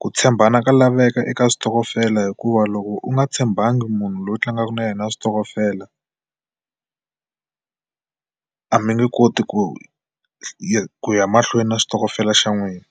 Ku tshembana ka laveka eka xitokofela hikuva loko u nga tshembakangi munhu loyi u tlangaka na yena switokofela a mi nge koti ku ya ku ya mahlweni na xitokofela xa n'wina.